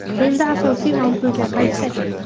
Endi asosiy mavzuga qaytsak.